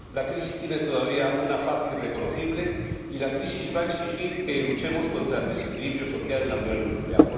la crisis tiene todavía una faz irreconocible y la crisis va a exigir que luchemos contra el desequilibrio social en la Unión Europea.